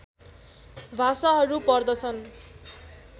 भाषाहरू पर्दछन्